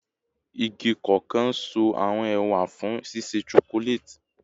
Igi koko n so awọn ewa fun ṣiṣe chocolate